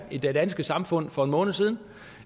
det danske samfund for en måned siden